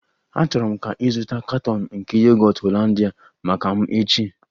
Achọrọ m ka ị zụta katọn nke Yogọt Hollandia maka m echi!